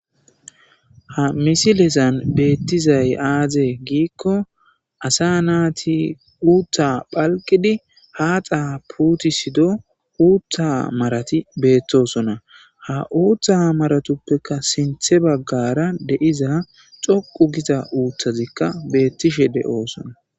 ha misilezan beettizay aazee giikko asa naati uuttha phalqidi haxxa puuti sido uutha marati beettosona ha uuththa maratuppeka sinthe baggara de'iza dhoqu gita uuthazikka beettishe de'oosona